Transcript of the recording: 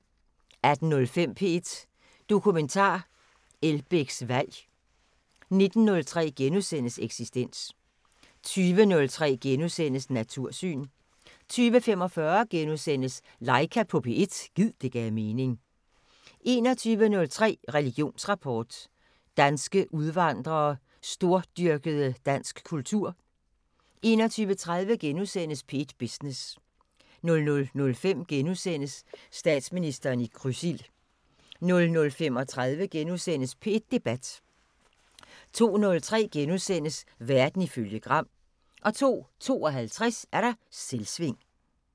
18:05: P1 Dokumentar: Elbæks valg 19:03: Eksistens * 20:03: Natursyn * 20:45: Laika på P1 – gid det gav mening * 21:03: Religionsrapport: Danske udvandrede stordyrkede dansk kultur 21:30: P1 Business * 00:05: Statsministeren i krydsild * 00:35: P1 Debat * 02:03: Verden ifølge Gram * 02:52: Selvsving